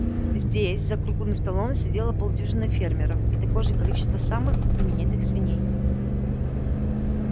здесь за круглым столом сидело полдюжины фермеров и такое же количество самых именитых свиней